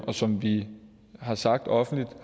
og som vi har sagt offentligt